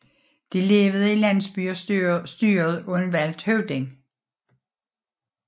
De levede i landsbyer styret af en valgt høvding